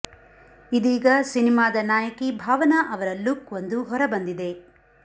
ಇದೀಗ ಸಿನಿಮಾದ ನಾಯಕಿ ಭಾವನಾ ಅವರ ಲುಕ್ ಒಂದು ಹೊರ ಬಂದಿದೆ